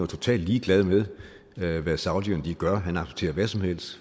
totalt ligeglad med hvad saudierne gør han accepterer hvad som helst